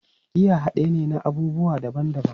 Giya hade ne na abubuwa daban-daban